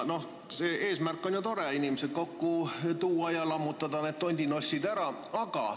Noh, eesmärk on ju tore: inimesed kokku tuua ja lammutada need tondilossid ära.